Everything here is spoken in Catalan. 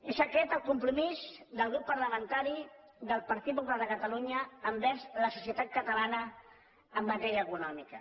és aquest el compromís del grup parlamentari del partit popular de catalunya cap a la societat catalana en matèria econòmica